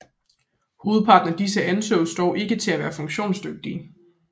Hovedparten af disse ansås dog ikke at være funktionsdygtige